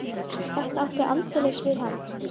Þetta átti aldeilis við hann.